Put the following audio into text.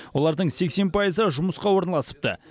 олардың сексен пайызы жұмысқа орналасыпты